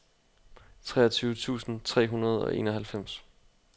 treogtyve tusind tre hundrede og enoghalvfems